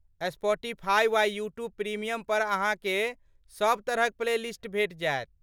Spotify वा YouTube premium पर अहाँकेँ सभ तरहक प्लेलिस्ट भेट जायत।